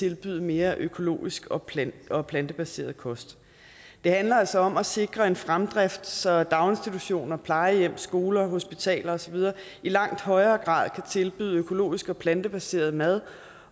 tilbyde mere økologisk og plantebaseret plantebaseret kost det handler altså om at sikre en fremdrift så daginstitutioner plejehjem skoler hospitaler og så videre i langt højere grad kan tilbyde økologisk og plantebaseret mad